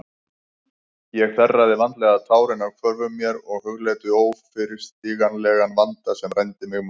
Ég þerraði vandlega tárin af hvörmum mér og hugleiddi óyfirstíganlegan vandann sem rændi mig máli.